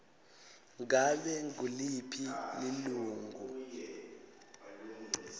ngabe nguliphi lilunga